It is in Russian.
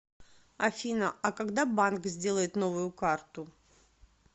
афина а когда банк сделает новую карту